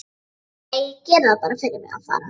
Æ, gerið það fyrir mig að fara.